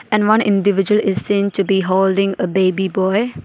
And one individual is seen to be holding a baby boy.